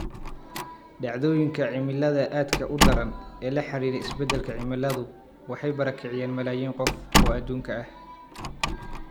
Dhacdooyinka cimilada aadka u daran ee la xidhiidha isbeddelka cimiladu waxay barakiciyeen malaayiin qof oo adduunka ah.